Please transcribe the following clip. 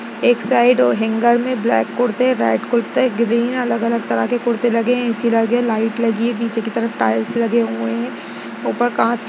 एक side hanger में black कुर्ते रेड कुर्ते ग्रीन अलग अलग तरह के कुर्ते लगे है एसी लगी है लाइट लगी है पीछे की तरफ टाईल्स लगे हुये है ऊपर काँच के--